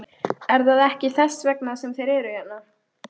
Er það ekki þess vegna sem þeir eru hérna?